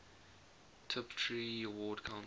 tiptree award council